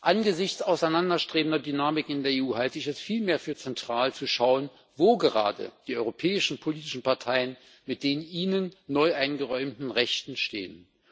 Angesichts auseinanderstrebender Dynamiken in der EU halte ich es vielmehr für zentral, zu schauen, wo gerade die europäischen politischen Parteien mit den ihnen neu eingeräumten Rechten stehen.